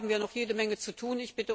Hier haben wir noch jede Menge zu tun.